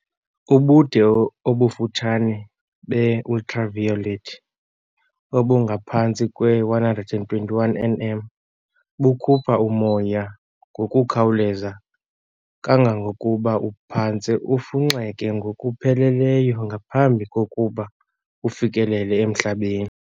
Ubude obufutshane be-ultraviolet, obungaphantsi kwe-121 nm, bukhupha umoya ngokukhawuleza kangangokuba uphantse ufunxeke ngokupheleleyo ngaphambi kokuba ufikelele emhlabeni.